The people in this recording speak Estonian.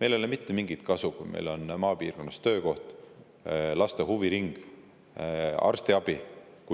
Meil ei ole mitte mingit kasu sellest, kui maapiirkonnas on töökoht, laste huviring ja arstiabi,